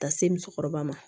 Ka se musokɔrɔba ma